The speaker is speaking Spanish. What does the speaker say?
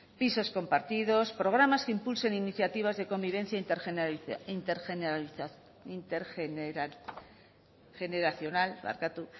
pisos compartidos programas que impulsen iniciativas de convivencia intergeneracional